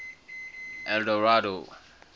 eldorado